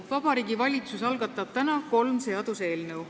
Vabariigi Valitsus algatab täna kolm seaduseelnõu.